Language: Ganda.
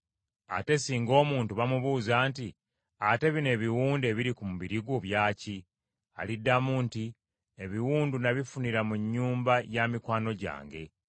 Era singa omuntu bamubuuza nti, ‘Ate bino ebiwundu ebiri ku mubiri gwo bya ki?’ Aliddamu nti, ‘Ebiwundu n’abifunira mu nnyumba ya mikwano gyange.’ ”